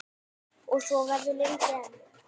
Og svo verður lengi enn.